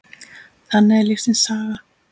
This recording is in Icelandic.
Þannig er lífsins saga.